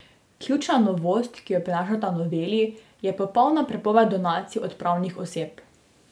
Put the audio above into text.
Ključna novost, ki jo prinašata noveli, je popolna prepoved donacij od pravnih oseb.